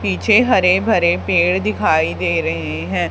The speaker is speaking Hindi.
पीछे हरे भरे पेड़ दिखाई दे रहे हैं।